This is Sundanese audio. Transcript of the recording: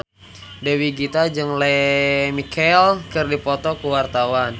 Dewi Gita jeung Lea Michele keur dipoto ku wartawan